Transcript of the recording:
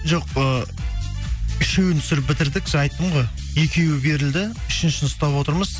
жоқ ы үшеуін түсіріп бітірдік жаңа айттым ғой екеуі берілді үшіншісін ұстап отырмыз